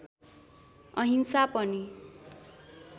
अहिंसा पनि